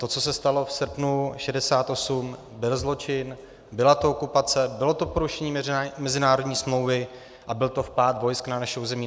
To, co se stalo v srpnu 1968, byl zločin, byla to okupace, bylo to porušení mezinárodní smlouvy a byl to vpád vojsk na naše území.